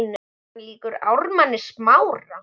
Er hann líkur Ármanni Smára?